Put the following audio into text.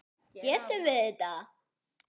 Getum við þetta?